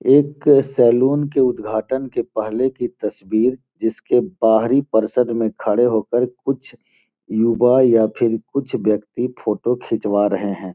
एक सैलून के उद्घाटन के पहले की तस्वीर जिसके बाहरी पर्षद में खड़े होकर कुछ युवा या फिर कुछ व्यक्ति फोटो खिचवा रहे हैं।